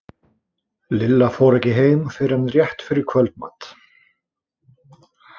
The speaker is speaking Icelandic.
Lilla fór ekki heim fyrr en rétt fyrir kvöldmat.